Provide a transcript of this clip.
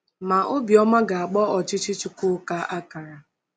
Ma, obi ọma ga-agba ọchịchị Chukwuka akara!